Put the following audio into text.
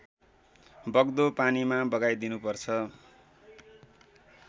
बग्दो पानीमा बगाइदिनुपर्छ